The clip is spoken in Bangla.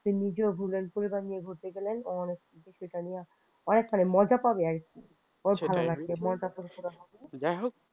সে নিজেও বুঝবে পরিবার নিয়ে ঘুরতে গেলে অনেকখানি মজা পাবে আর কি অনেক ভালো লাগলো মনটা ফুরফুরে হবে যাই হোক